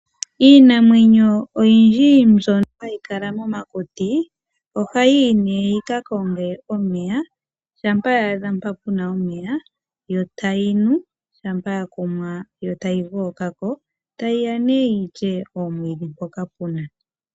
Iinamwenyo oyindji mbyono hayi kala momakuti ohayiiyi nee yikakonge omeya. Shampa ya adha mpa puna omeya yo tayinu shammpa yakumwa yo tayi gookako, yo tayiiya yilye omwiidhi mpoka puna.